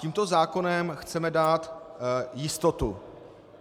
Tímto zákonem chceme dát jistotu.